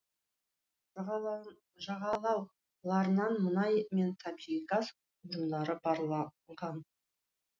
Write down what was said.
жағалауларынан мұнай мен табиғи газ орындары барланған